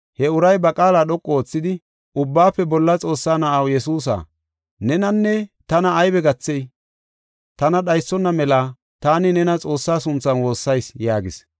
He uray ba qaala dhoqu oothidi, “Ubbaafe Bolla Xoossaa Na7aw Yesuusa, nenanne tana aybe gathey? Tana dhaysona mela taani nena Xoossaa sunthan woossayis” yaagis.